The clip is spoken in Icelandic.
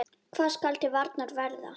Hvað skal til varnar verða?